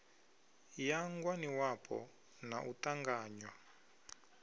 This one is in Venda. ya ngwaniwapo na u ṱanganywa